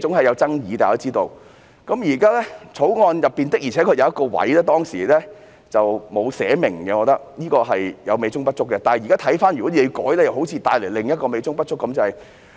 《漁業保護條例》中的確有一部分當時沒有清楚寫明，我認為是美中不足的地方，但若現在修改又可能會帶來另一個美中不足之處。